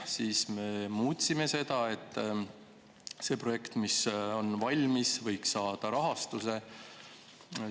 Siis me muutsime seda, nii et see projekt, mis on selleks valmis, võiks rahastust saada.